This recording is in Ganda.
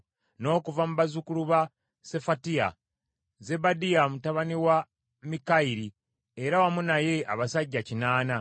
n’okuva mu bazzukulu ba Sefatiya, Zebadiya mutabani wa Mikayiri, era wamu naye abasajja kinaana (80);